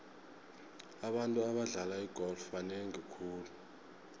abantu abadlala igolf banengi khulu